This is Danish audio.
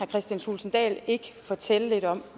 kristian thulesen dahl ikke fortælle lidt om